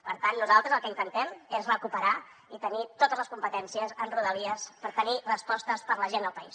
per tant nosaltres el que intentem és recuperar i tenir totes les competències en rodalies per tenir respostes per a la gent del país